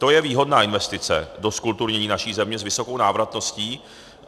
To je výhodná investice do zkulturnění naší země s vysokou návratností.